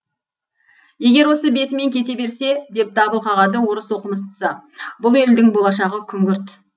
егер осы бетімен кете берсе деп дабыл қағады орыс оқымыстысы бұл елдің болашағы күнгірт